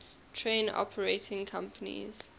train operating companies